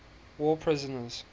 war prisoners